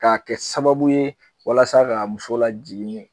K'a kɛ sababu ye walasa ka muso la jiginni